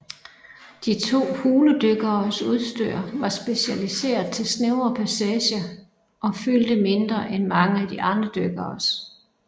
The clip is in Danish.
De to huledykkeres udstyr var specialiseret til snævre passager og fyldte mindre end mange af de andre dykkeres